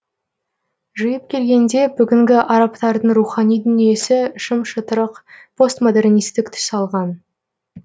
жиып келгенде бүгінгі арабтардың рухани дүниесі шым шытырық постмодернистік түс алған